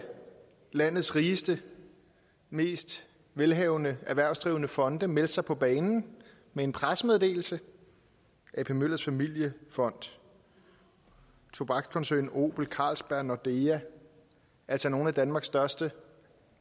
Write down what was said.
landets rigeste og mest velhavende erhvervsdrivende fonde meldte sig på banen med en pressemeddelelse ap møllers familiefond tobakskoncernen obel carlsberg nordea altså nogle af danmarks største